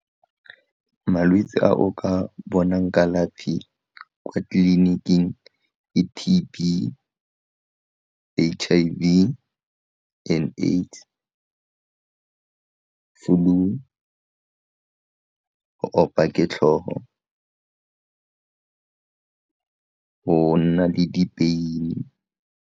Malwetse a o ka bonang kalafi kwa teiliniking ke T_B, H_I_V and AIDS, flu, go opa ke tlhogo go nna le dipeini.